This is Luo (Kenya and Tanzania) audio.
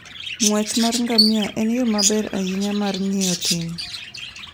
Ng'wech mar ngamia en yo maber ahinya mar ng'iyo thim.